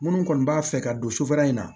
Minnu kɔni b'a fɛ ka don sufɛla in na